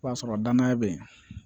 O b'a sɔrɔ danaya be yen